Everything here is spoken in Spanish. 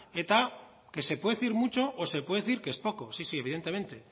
eta que se pude decir mucho o se puede decir que es poco sí sí evidentemente